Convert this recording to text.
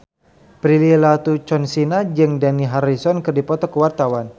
Prilly Latuconsina jeung Dani Harrison keur dipoto ku wartawan